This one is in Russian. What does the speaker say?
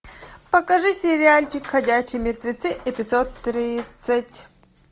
покажи сериальчик ходячие мертвецы эпизод тридцать